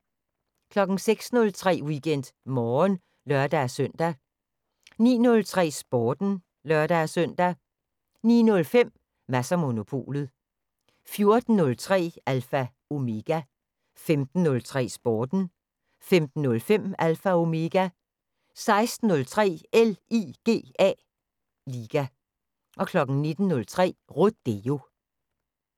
06:03: WeekendMorgen (lør-søn) 09:03: Sporten (lør-søn) 09:05: Mads & Monopolet 14:03: Alpha Omega 15:03: Sporten 15:05: Alpha Omega 16:03: LIGA 19:03: Rodeo